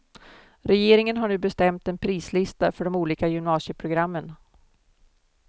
Regeringen har nu bestämt en prislista för de olika gymnasieprogrammen.